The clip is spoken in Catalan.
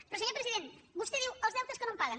però senyor president vostè diu els deutes que no em paguen